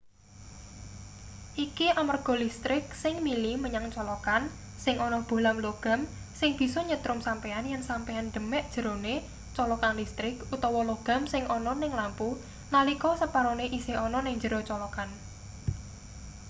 iki amarga listrik sing mili menyang colokan sing ana bohlam logam sing bisa nyetrum sampeyan yen sampeyan demek njerone colokan listrik utawa logam sing ana ning lampu nalika separone isih ana ning njero colokan